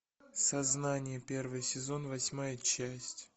сознание первый сезон восьмая часть